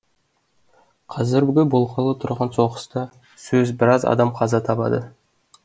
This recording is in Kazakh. қазіргі болғалы тұрған соғыста сөз біраз адам қаза табады